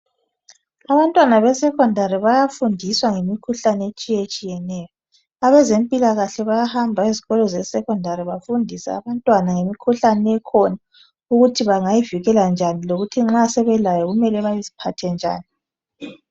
Abantwana besekhondari bayafundiswa ngemikhuhlane etshiyetshiyeneyo. Abezempilakahle bayahamba kulezo eskolo bebafundisa ngemikhuhlane ekhona, ukuthi bangayivikela njani, lokuthi nxa sebelayo kumele beziphathe njani.